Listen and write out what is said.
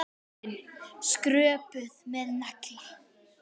Hurðin skröpuð með nagla.